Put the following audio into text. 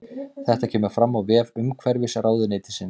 Þetta kemur fram á vef umhverfisráðuneytisins